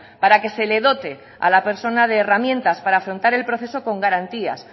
para que se le dote a la persona de herramientas para afrontar el proceso con garantías